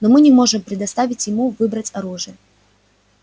но мы не можем предоставить ему выбрать оружие